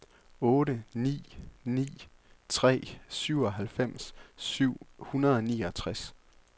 otte ni ni tre syvoghalvfems syv hundrede og niogtres